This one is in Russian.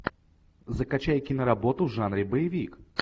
закачай киноработу в жанре боевик